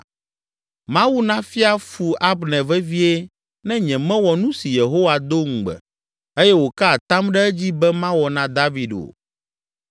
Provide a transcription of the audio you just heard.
Mawu nafia fu Abner vevie ne nyemewɔ nu si Yehowa do ŋugbe, eye wòka atam ɖe edzi be mawɔ na David o,